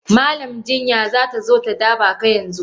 Malam jinya zatazo ta dabaka yanzu.